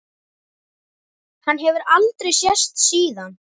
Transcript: Hann hefur aldrei sést síðan.